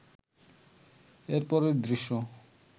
এরপরের দৃশ্য